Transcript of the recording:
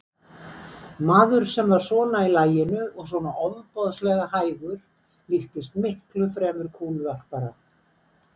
Maður sem var svona í laginu og svona ofboðslega hægur líktist miklu fremur kúluvarpara.